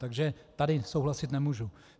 Takže tady souhlasit nemůžu.